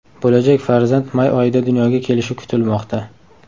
Bo‘lajak farzand may oyida dunyoga kelishi kutilmoqda.